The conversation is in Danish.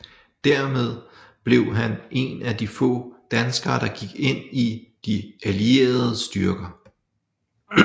Hermed blev han en af de få danskere der gik ind i de allierede styrker